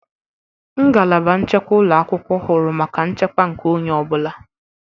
Ngalaba nchekwa ụlọ akwụkwọ huru maka nchekwa nke onye ọ bụla.